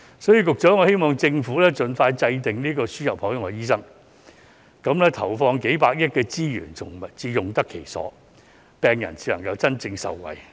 所以，局長，我希望政府盡快制訂輸入海外醫生的政策，這樣投放的數百億元資源才會用得其所，病人才能真正受惠。